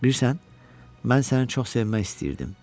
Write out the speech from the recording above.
Bilirsən, mən səni çox sevmək istəyirdim.